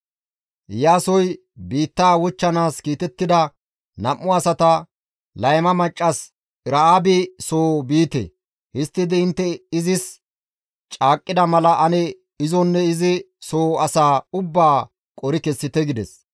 Iyaasoy biittaa wochchanaas kiitettida nam7u asata, «Layma maccas Era7aabi soo biite; histtidi intte izis caaqqida mala ane izonne izi soo asaa ubbaa qori kessite» gides.